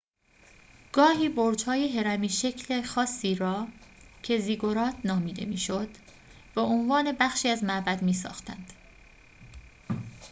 گاهی برج‌های هرمی‌شکل خاصی را که زیگورات نامیده می‌شد به‌عنوان بخشی از معبد می‌ساختند